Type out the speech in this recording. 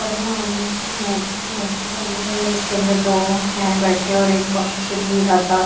भगवान की मूर्ति मूर्ति बनी हुई है जिसके अंदर दो हैं बैठे और एक बांसुरी राधा--